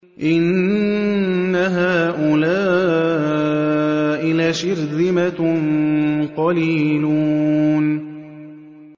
إِنَّ هَٰؤُلَاءِ لَشِرْذِمَةٌ قَلِيلُونَ